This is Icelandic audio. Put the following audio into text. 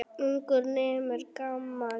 Ungur nemur, gamall temur.